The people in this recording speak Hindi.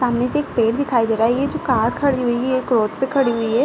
सामने से एक पेड़ दिखाई दे रहा है। ये जो कार खड़ी हुई हैं ये रोड पे खड़ी हुई है।